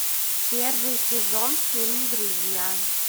первый сезон фильм друзья